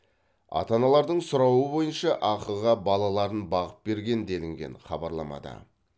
ата аналардың сұрауы бойынша ақыға балаларын бағып берген делінген хабарламада